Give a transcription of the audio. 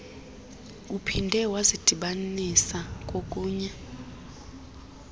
uphinde wazidibanisa kokunye